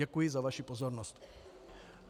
Děkuji za vaši pozornost.